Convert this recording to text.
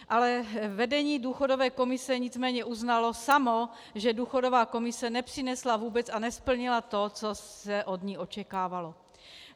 Ale vedení důchodové komise nicméně uznalo samo, že důchodová komise nepřinesla vůbec a nesplnila to, co se od ní očekávalo.